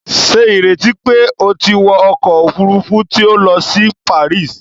Ṣe ìrètí pé o tí wọ ọkọ òfurufú tí o n lọ si Paris!?